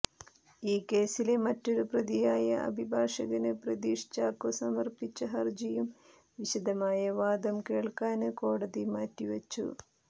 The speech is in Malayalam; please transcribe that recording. ഈ കേസിലെ മറ്റൊരു പ്രതിയായ അഭിഭാഷകന് പ്രതീഷ് ചാക്കോ സമര്പ്പിച്ച ഹര്ജിയും വിശദമായ വാദം കേള്ക്കാന് കോടതി മാറ്റി വച്ചു